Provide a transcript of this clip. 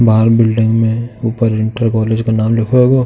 बाहर बिल्डिंग में ऊपर इंटर कॉलेज का नाम लिखो होगो।